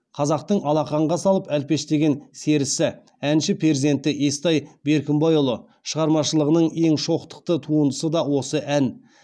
қазақтың алақанға салып әлпештеген серісі әнші перзенті естай беркімбайұлы шығармашылығының ең шоқтықты туындысы да осы ән